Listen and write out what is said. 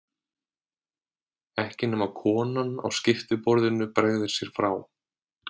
Ekki nema konan á skiptiborðinu bregði sér frá.